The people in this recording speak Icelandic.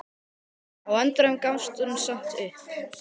Á endanum gafst hún samt upp.